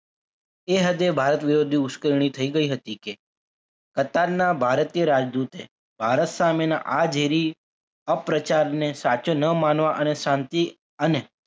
એ હદે ભારત વિરોધી ઉશ્કેરણી થઈ ગઈ હતી કે કતારના ભારતીય રાજદૂત એ ભારત સામેના આ ઝેરી અપ્રચારને સાચો ન માનવા અને શાંતિ અને